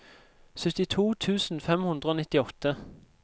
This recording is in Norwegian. syttito tusen fem hundre og nittiåtte